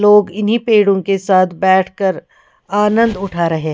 लोग इन्हीं पेड़ों के साथ बैठ कर आनंद उठा रहे हैं।